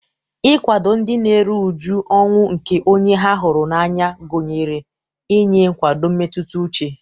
Ịkwado ndị na-eru uju ọnwụ nke onye ha hụrụ n'anya gụnyere inye nkwado mmetụta uche.